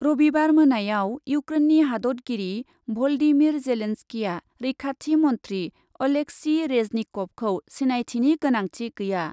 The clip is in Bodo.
रबिबार मोनायाव इउक्रेननि हादतगिरि भलदिमिर जेलेन्सकीआ रैखाथि मन्ध्रि अलेक्सी रेजनिकभखौ सिनायथिनि गोनांथि गैया ।